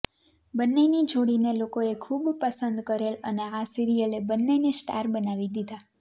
બન્નેની જોડી ને લોકોએ ખુબ પસંદ કરેલ અને આ સીરીયલે બન્ને ને સ્ટાર બનાવી દીધા